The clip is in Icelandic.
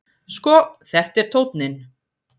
Sko, þetta er tónninn!